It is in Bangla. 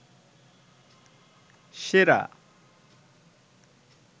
সেরা